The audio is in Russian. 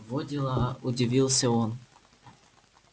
во дела удивился он